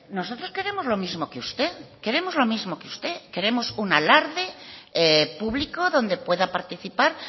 nosotros queremos lo mismo que usted queremos lo mismo que usted queremos un alarde público donde pueda participar